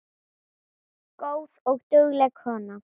Góð og dugleg kona